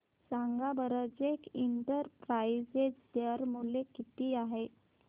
सांगा बरं JK enterprises share मूल्य किती आहे